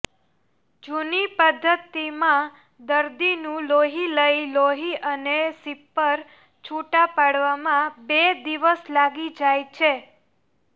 જૂની પધ્ધતિમાં દર્દીનું લોહી લઇ લોહી અને સીપર છુટા પાડવામાં બે દિવસ લાગી જાય છે